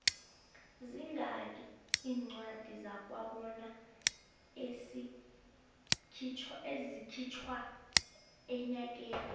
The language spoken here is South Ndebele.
zingaki incwadi zakwabona ezikhitjhwa enyakeni